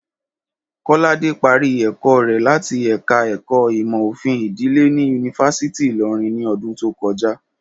Kọ́ládé parí ẹ̀kọ́ rẹ̀ láti ẹ̀ka ẹ̀kọ́ ìmò òfin ìdílé ní yunifásítì Ìlọrin ni ọdún tó kọjá